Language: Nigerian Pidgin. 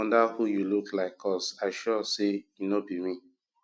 wonder who you look like cause i sure say e no be me